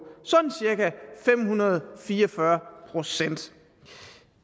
sådan cirka fem hundrede og fire og fyrre procent